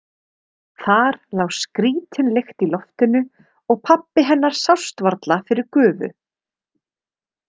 Þar lá skrítin lykt í loftinu og pabbi hennar sást varla fyrir gufu.